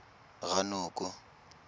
ranoko